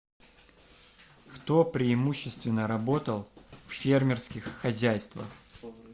кто преимущественно работал в фермерских хозяйствах